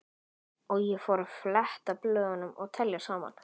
Og ég fór að fletta blöðum og telja saman.